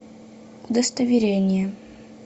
удостоверение